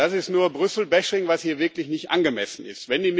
Das ist nur Brüssel Bashing was hier wirklich nicht angemessen ist.